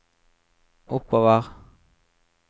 oppover